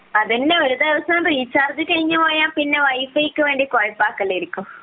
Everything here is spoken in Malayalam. അതന്നെ ഒരുദിവസം റീചാർജ് കഴിഞ്ഞു പോയാൽ പിന്നെ വൈ ഫൈ ക്കു വേണ്ടി ആയിരിക്കും